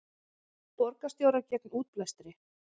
Borgarstjórar gegn útblæstri